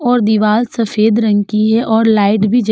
और दीवाल सफेद रंग की है और लाइट भी जल --